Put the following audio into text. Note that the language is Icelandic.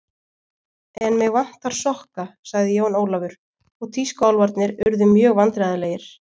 En mig vantar sokka sagði Jón Ólafur og tískuálfarnir urðu mjög vandræðalegir.